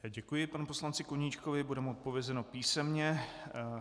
Děkuji panu poslanci Koníčkovi, bude mu odpovězeno písemně.